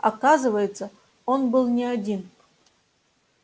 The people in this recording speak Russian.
оказывается он был не один